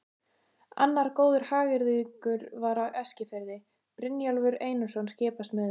Annar góður hagyrðingur var á Eskifirði, Brynjólfur Einarsson skipasmiður.